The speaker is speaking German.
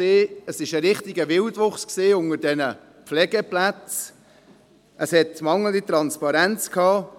Es gab einen richtigen Wildwuchs bei den Pflegeplätzen, mangelnde Transparenz,